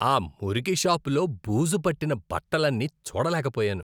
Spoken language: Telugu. ఆ మురికి షాపులో బూజు పట్టిన బట్టలన్నీ చూడలేకపోయాను.